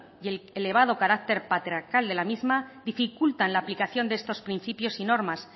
y el elevado carácter patriarcal de la misma dificulta en la aplicación de estos principios y normas